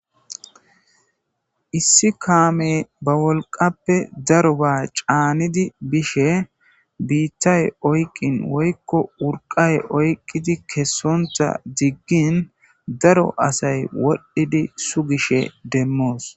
issi kaame ba wolqappe daro ba caanidi bishe biittay oyqqin woykko wurqay oyqqidi kessontha diggin daro asay wodhdhidi su gishe demmoos